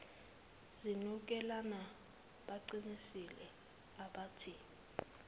zinukelana baqinisile abathi